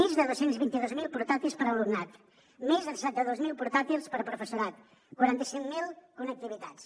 més de dos cents i vint dos mil portàtils per a l’alumnat més de setanta dos mil portàtils per a professorat quaranta cinc mil connectivitats